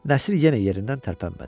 Nəsir yenə yerindən tərpənmədi.